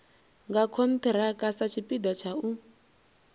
nga khonthiraka satshipida tsha u